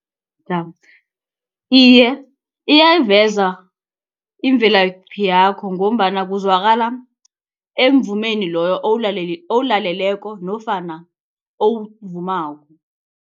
Iye, iyayiveza imvelaphi yakho ngombana kuzwakala emvumeni loyo owulaleleko nofana owuvumako.